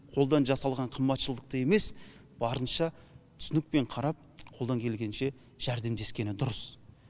қолдан жасалған қымбатшылықты емес барынша түсінікпен қарап қолдан келгенше жәрдемдескені дұрыс